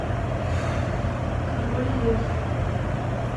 король лев